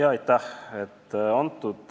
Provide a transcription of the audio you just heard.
Aitäh!